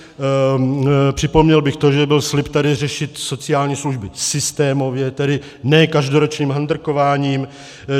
Připomněl bych to, že byl slib tady řešit sociální služby systémově, tedy ne každoročním handrkováním.